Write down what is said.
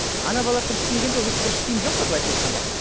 ана балалар дұрыс киінгенде ол кезде дұрыс киім жоқ қой былайша айтқанда